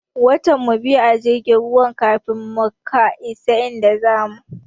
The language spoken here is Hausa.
Watan mu biyu a jirgin ruwan kafin muka isa inda zamu.